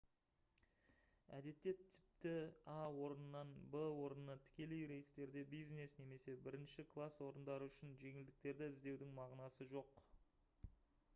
әдетте тіпті а орнынан в орнына тікелей рейстерде бизнес немесе бірінші класс орындары үшін жеңілдіктерді іздеудің мағынасы жоқ